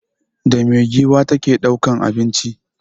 Da me giwa ta ke ɗaukan abinci?